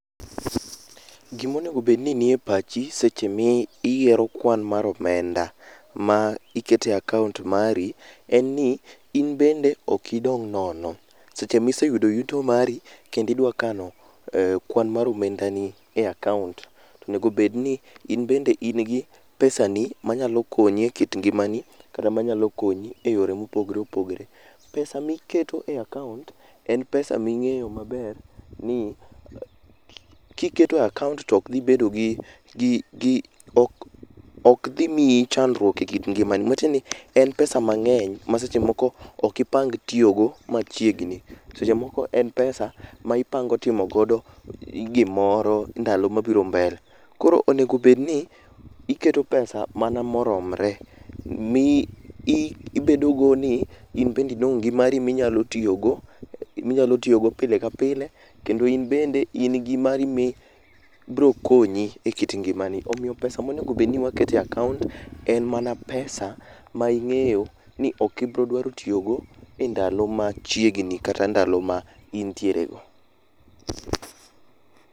Gimonego bed ni nie pachi seche miyiero kwan mar omenda ma iketo e akaont mari en ni in bende ok onego idong' nono. Seche miseyudo yuto mari kendo idwa kano kwan mar omendani e akaont, onego bedni in bende in gi pesani manyalo konyi e kit ngimani, kata manyalo konyi e yore mopogre opogre. pesa miketo e akaont en pesa ming'eyo maber ni kiketo e akaont to ok idhi bedo gi ,ok dhi miyi chandruok e kit ngimani.,matiendeni en pesa mang'eny ma seche moko ok ipang tiyogo machiegni. En pesa ma ipango timo godo gimoro ndalo mabiro mbele. Koro onego bedni, iketo pesa mana moromre mi ibedo go ni in bende idong' gimari minyalo tiyogo, gi minyalo tiyogo pile ka pile kendo in bende in gi mari ma biro konyi e kit ngimani. Omiyo pesa monego bed ni waketo e akaont en mana pesa ma ing'eyo ni ok ibiro dwaro tiyogo e ndalo machiegni kata ndalo ma intiere go.